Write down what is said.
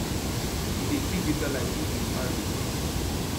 e dey see greater light if ms harris win